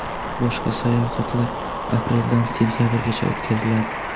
Boshqa sayohatlar apreldan sentabrgacha o‘tkaziladi.